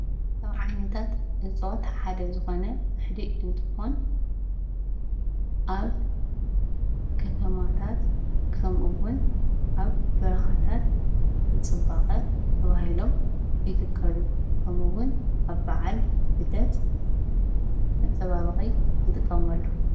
ካብ ዓይነታት እፅዋት ሓደ ዝኾነ ፅዕዲ እንትኾን ኣብ ከተማታት ከምኡ እውን ኣብ በረኻታት ንፅባቀ ተባሂሎም ይትከሉ ከምኡ እውን ኣብ በዓል ልደት መፀባበቂ ንጥቀመሉ።